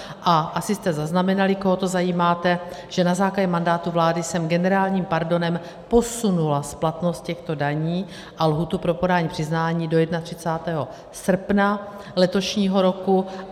A asi jste zaznamenali, koho to zajímá, že na základě mandátu vlády jsem generálním pardonem posunula splatnost těchto daní a lhůtu pro podání přiznání do 31. srpna letošního roku.